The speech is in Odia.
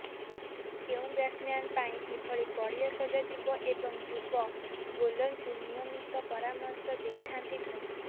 କେଉଁ ବ୍ୟାଟସମ୍ୟାନ୍ ପାଇଁ କିଭଳି ପଡ଼ିଆ ସଜାଯିବ ଏବଂ ଯୁବ ବୋଲରଙ୍କୁ ନିୟମିତ ପରାମର୍ଶ ଦେଇଥାନ୍ତି ଧୋନି